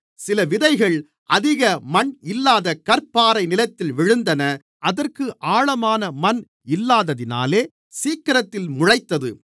சில விதைகள் அதிக மண் இல்லாத கற்பாறை நிலத்தில் விழுந்தன அதற்கு ஆழமான மண் இல்லாததினாலே சீக்கிரத்தில் முளைத்தது